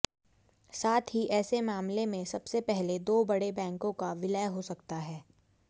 साथ ही ऐसे मामले में सबसे पहले दो बड़े बैंकों का विलय हो सकता है